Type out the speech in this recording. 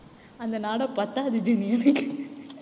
அந்த நாடா பத்தாது ஜெனி எனக்கு